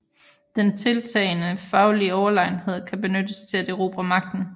Den tiltagende faglige Overlegenhed kan benyttes til at erobre Magten